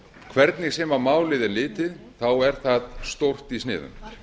hvernig sem á málið er litið þá er það stórt í sniðum